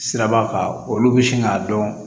Siraba kan olu bɛ sin k'a dɔn